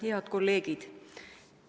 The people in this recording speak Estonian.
Head kolleegid!